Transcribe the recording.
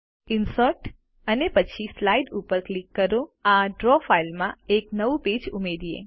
insert અને પછી slide ઉપર ક્લિક કરી આ ડ્રો ફાઈલમાં એક નવું પેજ ઉમેરીએ